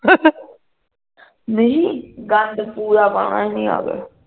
ਨਹੀਂ ਪੂਰਾ ਪਾਉਣਾ ਨੀ ਅੱਜ